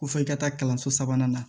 Ko fo i ka taa kalanso sabanan na